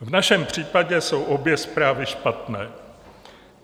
V našem případě jsou obě zprávy špatné.